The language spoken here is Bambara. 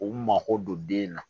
U mako don den na